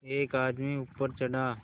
एक आदमी ऊपर चढ़ा